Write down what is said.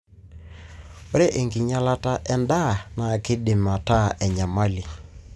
ore enkinyialata endaa na kindim ataa enyamali.